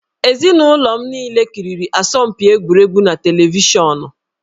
Ezinụlọ m niile kiriri asọmpi egwuregwu na televishọnụ